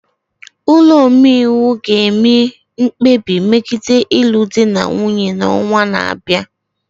Ụlọ omeiwu ga-eme mkpebi megide ịlụ di na nwunye n'ọnwa na-abịa.